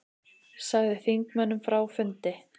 Sagði þingmönnum frá fundi